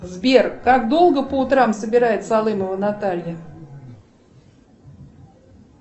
сбер как долго по утрам собирается алымова наталья